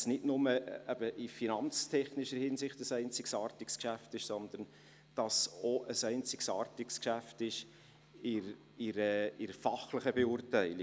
Es ist nicht nur in finanztechnischer Hinsicht ein einzigartiges Geschäft, sondern auch in Bezug auf die fachliche Beurteilung.